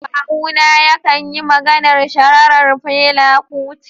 Kawuna ya kan yi maganar shaharar Fela Kuti.